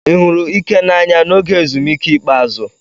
Ị hụrụ Ike n'anya n'oge ezumike ikpeazụ?